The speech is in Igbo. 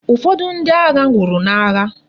Ufodu ndi agha nwuru na agha